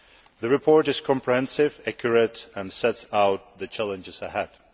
The report is comprehensive, accurate and sets out the challenges ahead.